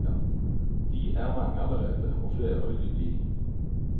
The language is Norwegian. De er mange allerede, og flere vil de bli.